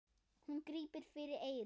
Hún grípur fyrir eyrun.